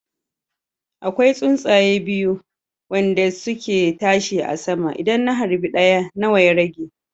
Akwai tsuntsaya biyu wande suke tashi a sama, idan na harbi ɗaya nawa ya rage